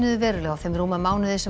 verulega á þeim rúma mánuði sem